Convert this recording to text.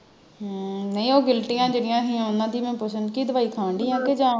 ਹਮ ਨਹੀਂ ਉਹ ਗਿਲਟੀਆਂ ਜਿਹੜੀਆਂ ਹੀ ਉਨ੍ਹਾਂ ਦੀ ਮੈਂ ਪੁੱਛਣ ਦਈ ਕਿ ਦਵਾਈ ਖਾਣ ਦਈ ਆ ਕਿ ਜਾਂ